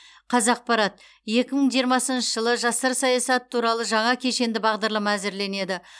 қазақпарат екі мың жиырмасыншы жылы жастар саясаты туралы жаңа кешенді бағдарлама әзірленеді